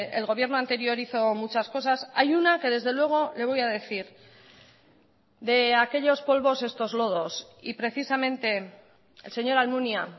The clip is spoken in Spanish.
el gobierno anterior hizo muchas cosas hay una que desde luego le voy a decir de aquellos polvos estos lodos y precisamente el señor almunia